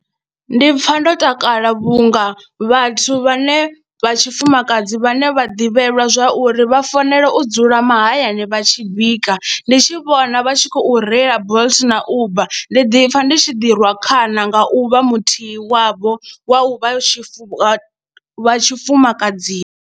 Ndi pfha ndo takala vhunga vhathu vhane vha tshifumakadzi vhane vha ḓivhelwa zwa uri vha fanela u dzula mahayani vha tshi bika ndi tshi vhona vha tshi khou reila Bolt na Uber ndi ḓi pfha ndi tshi ḓirwa khana nga u vha muthihi wavho wa u vha tshifuwo wa tshifumakadzini.